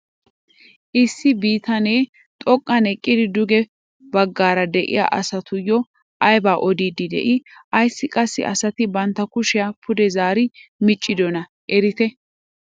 Issi bitanee xoqqan eqqidi duge baggaara de'iyaa asatuyoo aybaa odiidi de'ii? ayssi qassi asati bantta kushiyaa pude zaari miccidonaa eretii?